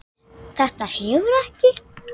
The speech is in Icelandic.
Þetta hefur ekki?